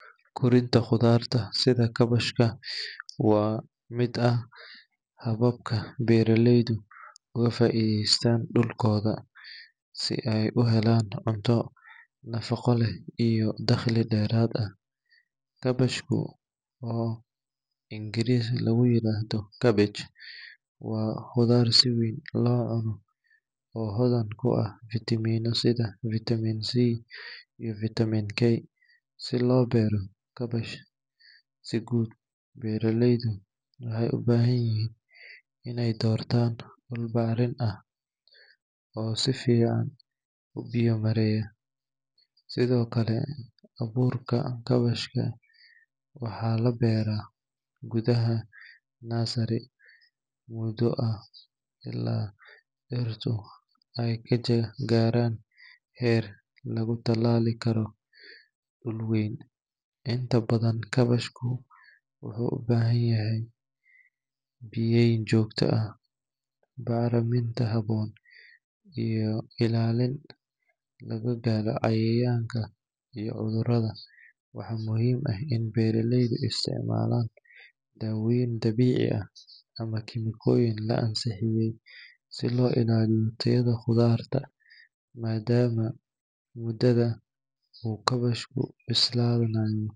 Korinta khudaaraha sida kaabashka waa mid ka mid ah hababka beeraleydu uga faa’iidaystaan dhulkooda si ay u helaan cunto nafaqo leh iyo dakhli dheeraad ah. Kaabashku, oo af-Ingiriisi lagu yiraahdo cabbage, waa khudaar si weyn loo cuno oo hodan ku ah fiitamiinada sida vitamin C iyo vitamin K. Si loo beero kaabash si guul leh, beeraleydu waxay u baahan yihiin in ay doortaan dhul bacrin ah oo si fiican u biyo-mareeya. Sidoo kale, abuurka kaabashka waxaa la beeraa gudaha nursery muddo ah ilaa dhirtii ay ka gaaraan heer lagu tallaali karo dhul weyn. Inta badan, kaabashka wuxuu u baahan yahay biyeyn joogto ah, bacriminta habboon, iyo ilaalin laga galo cayayaanka iyo cudurrada. Waxaa muhiim ah in beeraleydu isticmaalaan dawooyin dabiici ah ama kiimikooyin la ansixiyay si loo ilaaliyo tayada khudaarta. madama Muddada uu kaabashku bislaanayo.